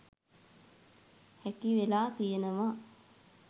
හැකි වෙලා තියෙනවා.